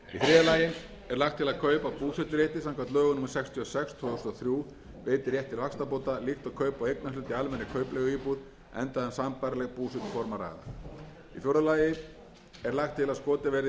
er lagt til að kaup á búseturétti samkvæmt lögum númer sextíu og sex tvö þúsund og þrjú veiti rétt til vaxtabóta líkt og kaup á eignarhlut í almennri kaupleiguíbúð enda um sambærileg búsetuform að ræða í fjórða lagi er lagt til að skotið verði styrkari stoðum undir þá